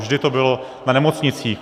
Vždy to bylo na nemocnicích.